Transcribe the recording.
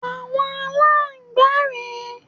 Àwọn Aláǹgbá rè é.